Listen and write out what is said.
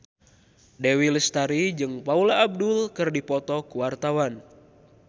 Dewi Lestari jeung Paula Abdul keur dipoto ku wartawan